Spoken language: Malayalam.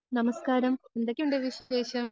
നമസ്കാരം എന്തൊക്കെയുണ്ട് വിശേഷം?